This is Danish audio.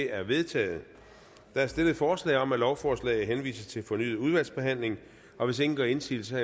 er vedtaget der er stillet forslag om at lovforslaget henvises til fornyet udvalgsbehandling og hvis ingen gør indsigelse